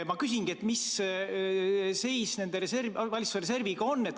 Ma küsingi, mis seis selle valitsuse reserviga on.